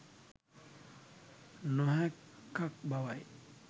නොහැක්කක් බව යි.